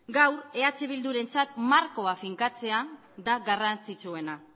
gaur eh bildurentzat markoa finkatzea da garrantzitsuena